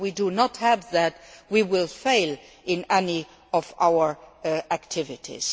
non If we do not have that, we will fail in all of our activities.